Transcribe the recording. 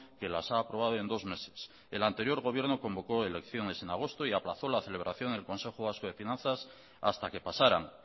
que las ha aprobado en dos meses el anterior gobierno convocó elecciones en agosto y aplazó la celebración del consejo vasco de finanzas hasta que pasaran